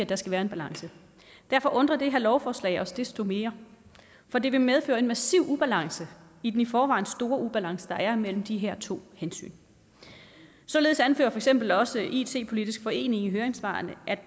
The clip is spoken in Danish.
der skal være balance derfor undrer det her lovforslag os desto mere for det vil medføre en massiv ubalance i den i forvejen store ubalance der er mellem de her to hensyn således anfører for eksempel også it politisk forening i høringssvarene